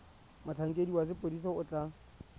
motlhankedi wa sepodisi o tla